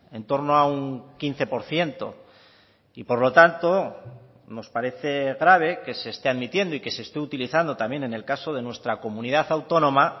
en torno a un quince por ciento y por lo tanto nos parece grave que se esté admitiendo y que se esté utilizando también en el caso de nuestra comunidad autónoma